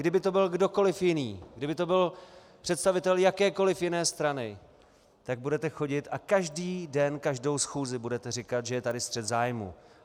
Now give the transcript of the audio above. Kdyby to byl kdokoliv jiný, kdyby to byl představitel jakékoliv jiné strany, tak budete chodit a každý den, každou schůzi budete říkat, že je tady střet zájmů.